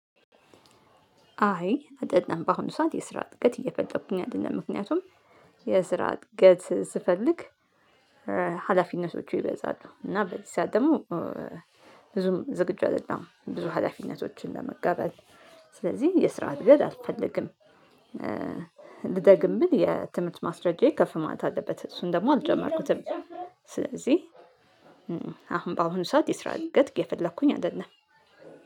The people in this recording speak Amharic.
አይ አይደለም በአሁኑ ሰዓት የስራ እድገት እየፈጠርኩኝ አይደለም ምክንያቱም የስራ እድገት ስፈልግ ሀላፊነቶቹ ይበዛሉ እና በዚህ ሰዓት ደግሞ ብዙም ዝግጁ አይደለሁም ብዙ ሀላፊነቶችን ለመቀበል። ስለዚህ የስራ እድገት አልፈልግም። ልደግም ብል የትምህርት ማስረጃዬ ከፍ ማለት አለበት እሱን ደግሞ አልጀመርኩትም። ስለዚህ አሁን በአሁኑ ሰዓት የስራ እድገት እየፈለኩኝ አይደለም።